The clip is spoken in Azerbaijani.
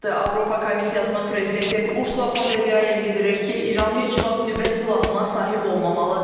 Avropa Komissiyasının prezidenti Ursula Fon der Leyen bildirir ki, İran heç vaxt nüvə silahına sahib olmamalıdır.